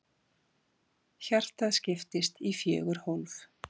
Hjartað skiptist í fjögur hólf.